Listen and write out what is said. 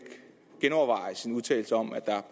genoverveje sin udtalelse om at der